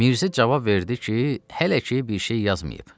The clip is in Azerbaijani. Mirzə cavab verdi ki, hələ ki bir şey yazmayıb.